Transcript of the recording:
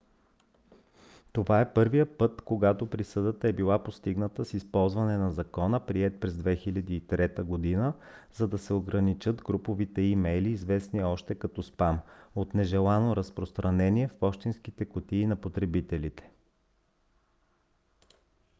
това е първият път когато присъдата е била постигната с използване на закона приет през 2003 г. за да се ограничат груповите имейли известни още като спам от нежелано разпространение в пощенските кутии на потребителите